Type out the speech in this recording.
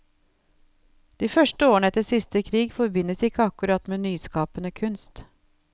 De første årene etter siste krig forbindes ikke akkurat med nyskapende kunst.